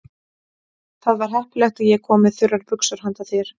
Það var heppilegt að ég kom með þurrar buxur handa þér.